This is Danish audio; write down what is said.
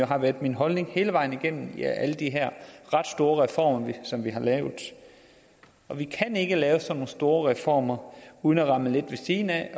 har været min holdning hele vejen igennem alle de her ret store reformer som vi har lavet og vi kan ikke lave sådan nogle store reformer uden at ramme lidt ved siden af